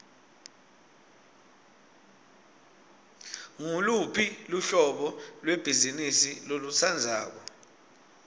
nguluphi luhlobo lwebhizimisi lolutsandzako